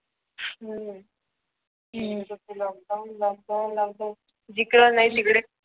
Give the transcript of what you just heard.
हम्म नुसतं lockdown lockdown lockdown जिकडे नाही तिकडे